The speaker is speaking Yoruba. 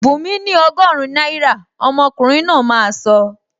Bunmi ni ọgọrun náírà,! Omokunrin náà máa sọ